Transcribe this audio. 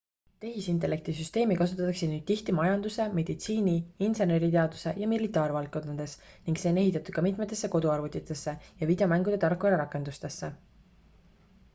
tehisintellekti süsteemi kasutatakse nüüd tihti majanduse meditsiini inseneriteaduse ja militaarvaldkondades ning see on ehitatud ka mitmetesse koduarvutitesse ja videomängude tarkvara rakendustesse